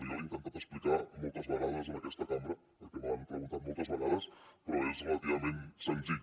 jo l’he intentat explicar moltes vegades en aquesta cambra perquè me l’han preguntat moltes vegades però és relativament senzill